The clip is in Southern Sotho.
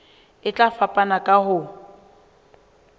e tla fapana ka ho